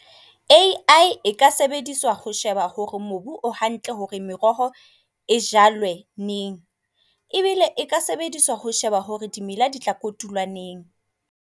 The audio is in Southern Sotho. AI e ka sebediswa ho sheba hore mobu o hantle hore meroho e jwale neng. Ebile e ka sebediswa ho sheba hore dimela di tla kotulwa neng.